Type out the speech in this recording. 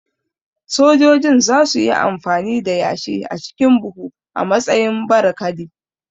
Sojojin za su yi amfani da yashi a cikin buhu a matsayin barikadi